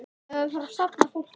En það er dýrt.